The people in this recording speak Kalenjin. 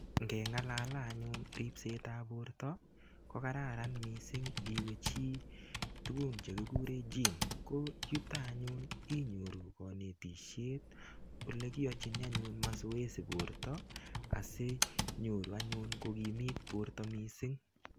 ngelalane anyun ribset ab borta koraran missing iwe cho olekikuren audio olito inyoru kanetishiet oleiyochini mazoezi borta si inyori anyun kokimit borta missing